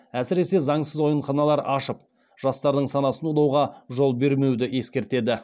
әсіресе заңсыз ойынханалар ашып жастардың санасын улауға жол бермеуді ескертеді